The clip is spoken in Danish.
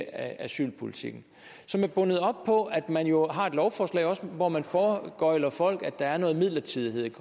asylpolitikken som er bundet op på at man jo også har et lovforslag hvor man foregøgler folk at der er noget midlertidighed i